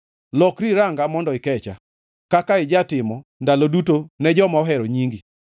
Lokri iranga mondo ikecha, kaka ijatimo ndalo duto ne joma ohero nyingi.